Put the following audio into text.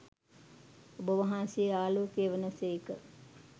ඔබවහන්සේ ආලෝකය වන සේක.